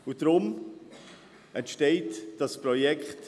Deshalb entsteht dieses Projekt.